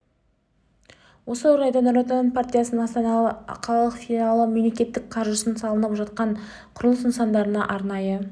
осы орайда нұр отан партиясының астана қалалық филлиалы мемлекет қаржысына салынып жатқан құрылыс нысандарына арнайы